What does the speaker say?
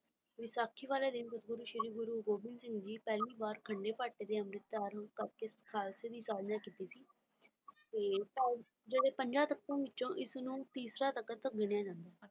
ਵਿਸਾਖੀ ਵਾਲੇ ਦਿਨ ਗੁਰੂ ਸ੍ਰੀ ਗੁਰੂ ਗੋਬਿੰਦ ਸਿੰਘ ਜੀ ਪਹਿਲੀ ਵਾਰ ਖੰਡੇ ਬਾਟੇ ਦੇ ਅੰਮ੍ਰਿਤ ਡਰ ਨੂੰ ਪੱਕੇ ਖਾਲਸੇ ਦੀ ਸਾਥਆਪਨਾ ਕੀਤੀ ਸੀ ਤੇ ਜਿਹੜਾ ਪੰਜਾਂ ਤਖਤਾਂ ਵਿਚੋਂ ਇੱਕ ਨੂੰ ਤੀਸਰਾ ਤੱਖਤ ਮਿਲਿਆ